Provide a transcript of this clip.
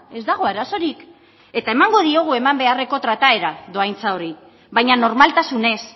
ez dago arazorik eta emango diogu eman beharreko trataera dohaintza horri baina normaltasunez